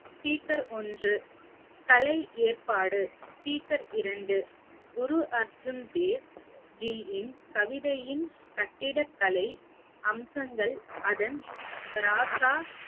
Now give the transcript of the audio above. speaker ஒன்று கலை ஏற்பாடு speaker இரண்டு குரு அர்ஜுன் தேவ்ஜியின் கவிதையின் கட்டிடக்கலை அம்சங்கள் அதன் ராசா